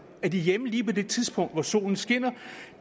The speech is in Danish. er de hjemme lige på det tidspunkt hvor solen skinner